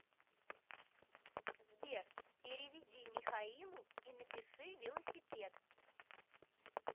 сбер переведи михаилу и напиши велосипед